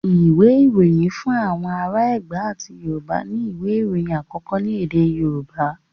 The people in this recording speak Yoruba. Ìwé Ìròyìn Fún Àwọn Ará Ẹ̀gbá àti Yorùbá ni ìwé ìròyìn àkọ́kọ́ ní èdè Yorùbá.